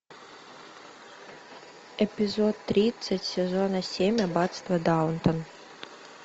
эпизод тридцать сезона семь аббатство даунтон